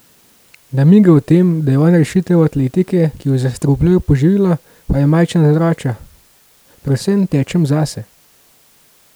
Namige o tem, da je on rešitelj atletike, ki jo zastrupljajo poživila, pa Jamajčan zavrača: "Predvsem tečem zase.